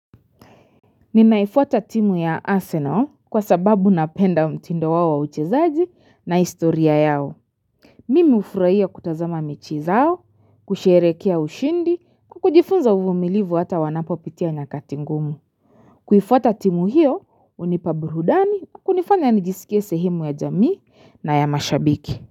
Ninaifuata timu ya Arsenal kwa sababu napenda mtindo wa uchezaji na istoria yao. Mimi hufuraia kutazama mechi zao, kusherekea ushindi, kujifunza uvumilivu hata wanapopitia nyakati ngumu. Kuifuata timu hiyo, hunipa burudani, kunifanya nijisikie sehemu ya jamii na ya mashabiki.